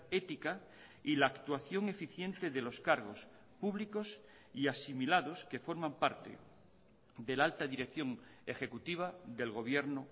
ética y la actuación eficiente de los cargos públicos y asimilados que forman parte de la alta dirección ejecutiva del gobierno